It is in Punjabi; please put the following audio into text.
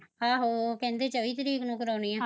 ਆਹੋ ਓਹ ਕਹਿੰਦੇ ਚੌਵਈ ਤਰੀਕ ਨੂੰ ਕਰਾਉਣੀ ਐ